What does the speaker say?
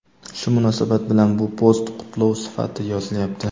Shu munosabat bilan bu post qutlov sifatida yozilyapti.